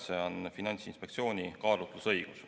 See on Finantsinspektsiooni kaalutlusõigus.